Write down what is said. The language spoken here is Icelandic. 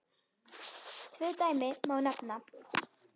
Tvö dæmi má nefna.